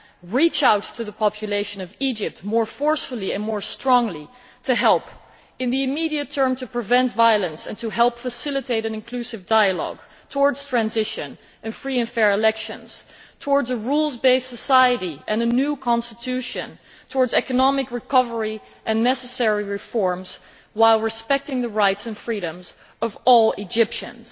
We must reach out to the population of Egypt more forcefully and more strongly to help, in the immediate term, to prevent violence and to help facilitate an inclusive dialogue towards transition and free and fair elections, towards a rules based society and a new constitution and towards economic recovery and necessary reforms, while respecting the rights and freedoms of all Egyptians.